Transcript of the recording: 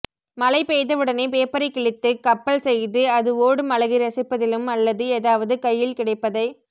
மழைபெய்தவுடனே பேப்பரைக்கிழித்து கப்பல்செய்து அது ஓடும் அழகை ரசிப்பதிலும் அல்லது எதாவது கையில் கிடைப்பதை